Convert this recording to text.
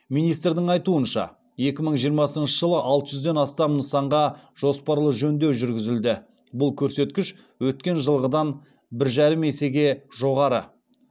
министрдің айтуынша екі мың жиырмасыншы жылы алты жүзден астам нысанға жоспарлы жөндеу жүргізілді бұл көрсеткіш өткен жылғыдан бір жарым есеге жоғары